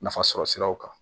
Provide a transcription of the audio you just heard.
Nafasɔrɔ siraw kan